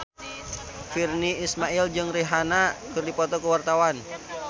Virnie Ismail jeung Rihanna keur dipoto ku wartawan